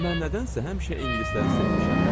Mən nədənsə həmişə ingilisləri sevmişəm.